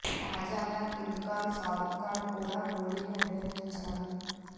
తాజాగా కింగ్ ఖాన్ షారుక్ ఖాన్ కూడా మోడీని అభినందించారు